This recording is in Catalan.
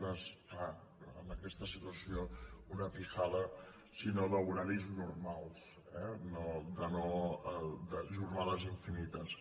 clar en aquesta situació una sinó d’horaris normals no de jornades infinites